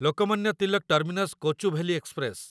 Lokmanya Tilak terminus Kochuveli express